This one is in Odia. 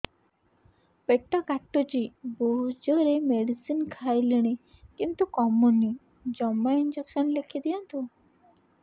ପେଟ କାଟୁଛି ବହୁତ ଜୋରରେ ମେଡିସିନ ଖାଇଲିଣି କିନ୍ତୁ କମୁନି ଜମା ଇଂଜେକସନ ଲେଖିଦିଅନ୍ତୁ